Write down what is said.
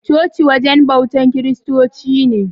Coci wajen bautan kiristoci ne.